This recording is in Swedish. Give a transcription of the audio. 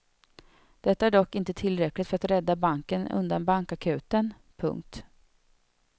Detta är dock inte tillräckligt för att rädda banken undan bankakuten. punkt